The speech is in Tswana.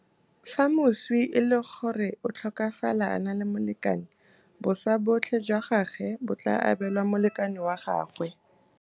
Fa moswi e le gore o tlhokafala a na le molekane, boswa botlhe jwa gagwe bo tla abelwa molekane wa gagwe.